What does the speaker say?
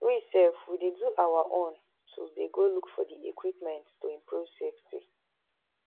we sef we dey do our own too dey go look for di equipment to improve safety